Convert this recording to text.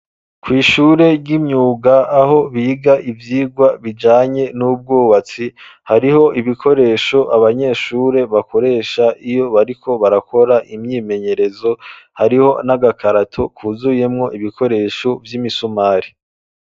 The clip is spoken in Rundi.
Kw'ishure ry'imyuga aho biga ivyirwa bijanye n'ubwobatsi hariho ibikoresho abanyeshure bakoresha iyo bariko barakora imyimenyerezo hariho n'agakarato kuzuyemwo ibikoresho vy'imisumari.